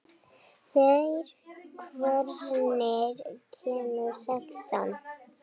Þeyr, hvenær kemur sexan?